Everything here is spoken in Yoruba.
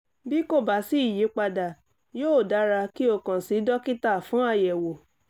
bí kò bá sí ìyípadà yóò dára kí o kàn sí dókítà fún àyẹ̀wò